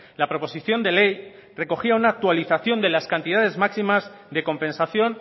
la proposición de ley recogía una actualización de las cantidades máximas de compensación